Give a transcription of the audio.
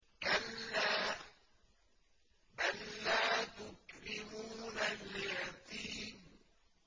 كَلَّا ۖ بَل لَّا تُكْرِمُونَ الْيَتِيمَ